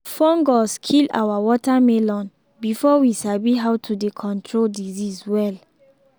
fungus kill our watermelon before we sabi how to dey control disease well.